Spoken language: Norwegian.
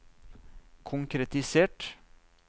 konkretisert